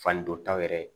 Fani dɔ taw yɛrɛ